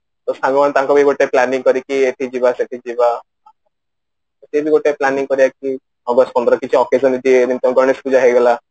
ତ ସାଙ୍ଗମାନେ ତାଙ୍କର ଗୋଟେ planning କରିକି ଏଥିକି ଯିବା ସେଠିକି ଯିବା actually ଗୋଟେ planning କରିବା କି ଗୋଟେ ସୁନ୍ଦର କିଛି occasion କି ଗଣେଶ ପୂଜା ହେଇଗଲା